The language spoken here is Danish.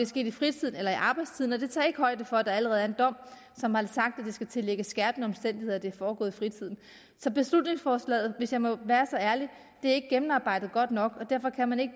sket i fritiden eller i arbejdstiden og det tager ikke højde for at der allerede er en dom som har sagt at det skal tillægges skærpende omstændigheder at det er foregået i fritiden så beslutningsforslaget hvis jeg må være så ærlig er ikke gennemarbejdet godt nok og derfor kan man ikke